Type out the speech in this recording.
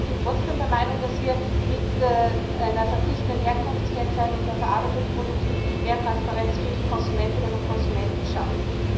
Aber ich bin trotzdem der Meinung, dass wir mit einer verpflichtenden Herkunftskennzeichnung bei verarbeiteten Produkten mehr Transparenz für die Konsumentinnen und Konsumenten schaffen.